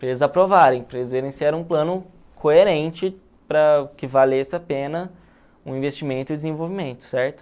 para eles aprovarem, para eles verem se era um plano coerente para que valesse a pena o investimento e o desenvolvimento, certo?